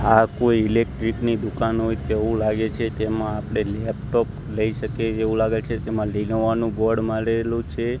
આ કોઈ ઈલેક્ટ્રીક ની દુકાન હોય તેવું લાગે છે તેમાં આપડે લેપટોપ લય શકીયે એવુ લાગે છે તેમાં લીનોવા નું બોર્ડ મારેલું છે.